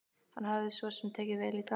Hann hafði svo sem tekið vel í það.